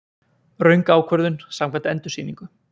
Röng ákvörðun samkvæmt endursýningu